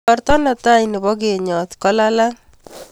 Igorta ne tai nebo kenyot ko lalang'